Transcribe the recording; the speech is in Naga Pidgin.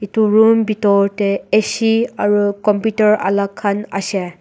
Etu room bethor dae A_C aro computer alak khan ase.